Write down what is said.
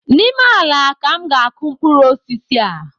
N’ime ala ka m ga akụ mkpụrụ osisi a